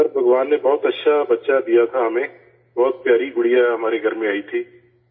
سر، بھگوان نے بہت اچھا بچہ دیا تھا ہمیں، بہت پیاری گڑیا ہمارے گھر میں آئی تھی